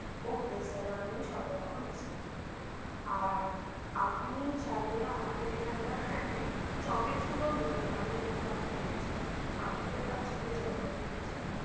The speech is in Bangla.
ok sir আমি সবরকম mix করে দেব আর আপনি চাইলে আমাদের এখানকার handmade chocolate গুলো নিতে পারেন যেহেতু আপনি বলছেন আপনাদের বাচ্চাদের জর্ন্মদিন আছে